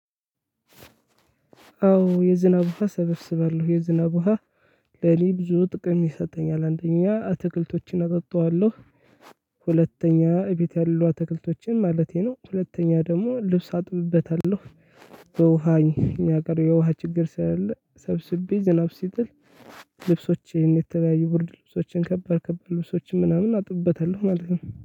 አዎ የዝናብ ውሃ ሰበስባለሁ የዝናብ ውሃ ለኔ ብዙ ጥቅም የሰጠኝ አንደኛ አትክልቶችን አጠጣዋለሁ። ሁለተኛ እቤት ያሉ አትክልቶችን ማለቴ ነው። ሁለተኛ ደግሞ ልብስ አጥብበታለሁ። በውሃኝ እኛ ሀገር የውሃ ችግር ስላለ ሰብስቤ ዝናብ ሲጥል። ልብሶቼን የተለያዩ ብርድ ልብሶችን ከባድ ከባድ የሆኑ ልብሶችን ምናምን አጥብበታለሁ ማለት ነው